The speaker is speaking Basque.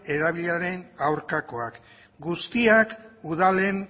erabileraren aurkakoak guztiak udalen